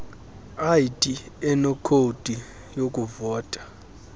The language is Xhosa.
id enekhodi yokuvota